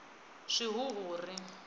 swihuhuri